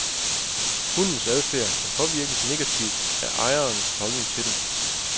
Hundens adfærd kan påvirkes negativt af ejerens holdning til den.